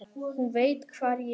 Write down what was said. Hún veit hvar ég er.